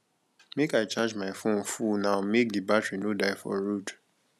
make i charge my fone full now make di battery no die for road